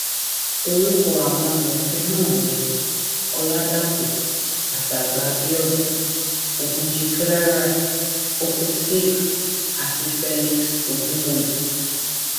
orúkọ àwọn amòfin náà ni ọlàdàpọ àtagbàábíọdún ogunjì clara okwusig àti felix ogunwòye